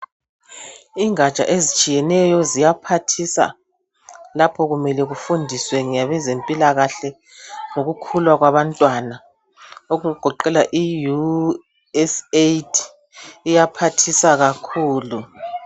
Ingatsha ezitshiyeneyo ziyaphathisa lapho kumele kufundiswe ngabazempilakahle lokukhula kwabantwana okugoqela iUSAID iyaphathisa kakhulu.